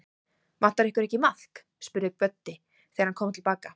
Vantar ykkur ekki maðk? spurði Böddi, þegar hann kom til baka.